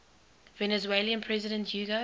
venezuelan president hugo